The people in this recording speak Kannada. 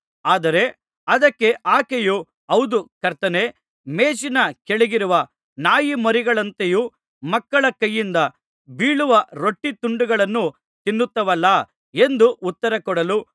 ಆದರೆ ಅದಕ್ಕೆ ಆಕೆಯು ಹೌದು ಕರ್ತನೇ ಮೇಜಿನ ಕೆಳಗಿರುವ ನಾಯಿಮರಿಗಳಂತೂ ಮಕ್ಕಳ ಕೈಯಿಂದ ಬೀಳುವ ರೊಟ್ಟೀತುಂಡುಗಳನ್ನು ತಿನ್ನುತ್ತವಲ್ಲಾ ಎಂದು ಉತ್ತರಕೊಡಲು